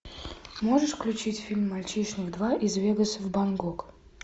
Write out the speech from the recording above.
можешь включить фильм мальчишник два из вегаса в бангкок